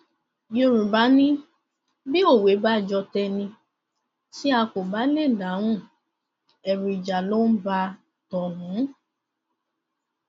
yorùbá ni bí òwe bá jọ tẹni tí a kò bá lè dáhùn erù ìjà ló ń bá tọhún